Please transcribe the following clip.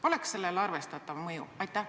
Oleks sellel arvestatav mõju?